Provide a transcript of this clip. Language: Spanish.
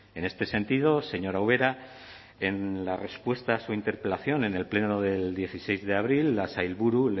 en este sentido señora ubera en la respuesta a su interpelación en el pleno del dieciséis de abril la sailburu